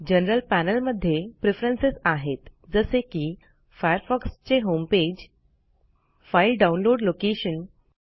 general panel मध्ये Preferencesआहेत जसे की Firefoxचे होमपेज फाईल डाऊनलोड लोकेशन